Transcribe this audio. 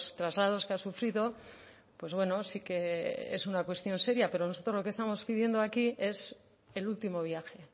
traslados que ha sufrido pues bueno sí que es una cuestión seria pero nosotros lo que estamos pidiendo aquí es el último viaje